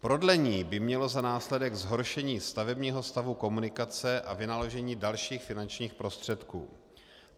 Prodlení by mělo za následek zhoršení stavebního stavu komunikace a vynaložení dalších finančních prostředků.